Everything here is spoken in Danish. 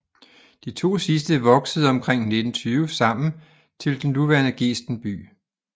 De 2 sidste voksede omkring 1920 sammen til den nuværende Gesten by